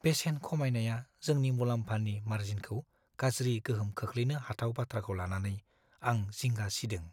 बेसेन खमायनाया जोंनि मुलाम्फानि मार्जिनखौ गाज्रि गोहोम खोख्लैनो हाथाव बाथ्राखौ लानानै आं जिंगा सिदों।